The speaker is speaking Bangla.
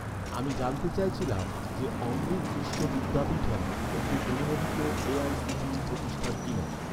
আমি জানতে চাইছিলাম যে, অমৃত বিশ্ব বিদ্যাপীঠম, একটি অনুমোদিত এ.আই.সি.টি.ই প্রতিষ্ঠান কিনা?